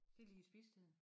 De lige ved spisetiden